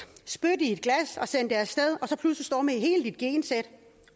spyt i et glas og send det af sted og så pludselig står du med hele dit gensæt